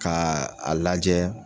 Ka a lajɛ